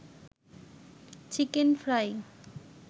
chicken fry